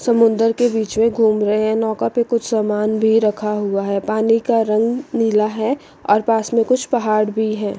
समुद्र के बीच में घूम रहे हैं नैका पे कुछ सामान भी रखा हुआ है पानी का रंग नीला है और पास में कुछ पहाड़ भी हैं।